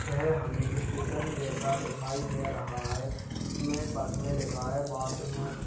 यह हमे स्टेशन जैसा दिखाई दे रहा है इसमें बस में लिखा है --